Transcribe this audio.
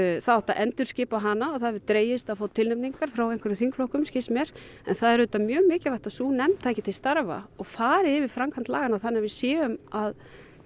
það átti að endurskipa hana og það hefur dregist að fá tilnefningar frá einhverjum þingflokkum skilst mér en það er auðvitað mjög mikilvægt að sú nefnd taki til starfa og fari yfir framkvæmd laganna þannig að við séum að